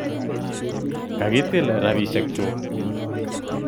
Kakitil rapishek chuk